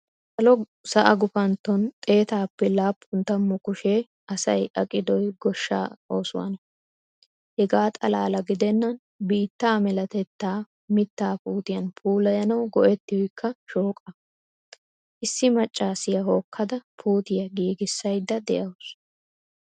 Salo sa"a guufanton xeetappe laappun taammu kushshe asayi aqiidoyi gooshsa oosuwana. heega xaalala giidenani biitta meelatetta miitta puutiyan puulayanawu go"etiyokka shooqa. issi maccasiya hookkada puutiya giigisayida de"awusu